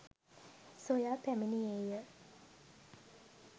සොයා පැමිණියේය